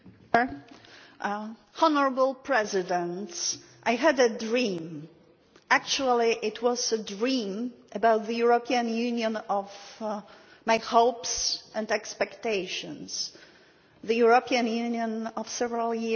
Mr President, I had a dream actually it was a dream about the European Union of my hopes and expectations, the European Union of several years ago.